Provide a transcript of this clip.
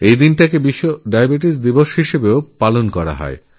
আবার এই দিনটি বিশ্ব ডায়াবেটিস দিবস হিসেবেও স্বীকৃত